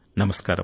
నమస్కారం